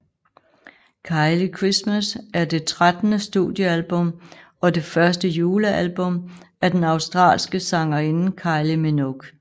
Kylie Christmas er det trettende studiealbum og det første julealbum af den australske sangerinde Kylie Minogue